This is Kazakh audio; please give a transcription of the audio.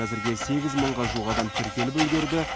әзірге сегіз мыңға жуық адам тіркеліп үлгерді